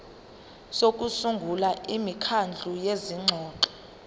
sokusungula imikhandlu yezingxoxo